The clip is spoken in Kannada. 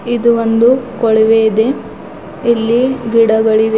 ಇದು ಒಂದು ಕೊಳವೆ ಇದೆ ಇಲ್ಲಿ ಗಿಡಗಳಿವೆ.